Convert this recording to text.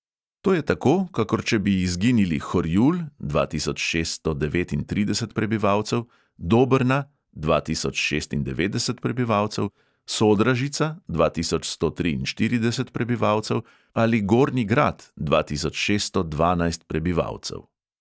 To je tako, kakor če bi izginili horjul (dva tisoč šeststo devetintrideset prebivalcev), dobrna (dva tisoč šestindevetdeset prebivalcev), sodražica (dva tisoč sto triinštirideset prebivalcev) ali gornji grad (dva tisoč šeststo dvanajst prebivalcev).